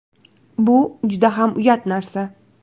Bu juda ham uyat narsa.